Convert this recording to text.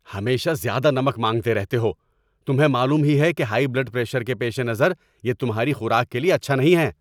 ہمیشہ زیادہ نمک مانگتے رہتے ہو! تمہیں معلوم ہی ہے کہ ہائی بلڈ پریشر کے پیش نظر یہ تمہاری خوراک کے لیے اچھا نہیں ہے۔